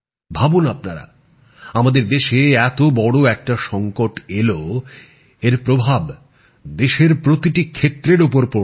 ভাবুন আপনারা আমাদের দেশে এত বড় একটা সংকট এলো এর প্রভাব দেশের প্রতিটি ক্ষেত্রের ওপর পড়ল